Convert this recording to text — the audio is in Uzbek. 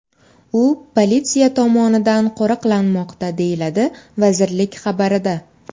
U politsiya tomonidan qo‘riqlanmoqda”, deyiladi vazirlik xabarida.